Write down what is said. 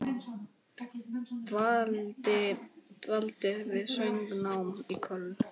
Dvaldi við söngnám í Köln.